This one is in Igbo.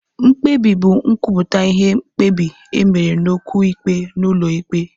Mkpebi bụ nkwupụta ihe mkpebi e mere n'okwu ikpe n'ụlọ ikpe.